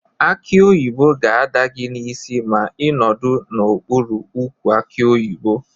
Akị oyibo ga-ada gị n'isi ma ị nọdụ n'okpụrụ ukwu akị oyibo.